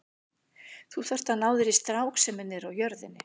Þú þarft að ná þér í strák sem er niðri á jörðinni.